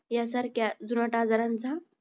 यांसारख्या जुनाट आजारांचा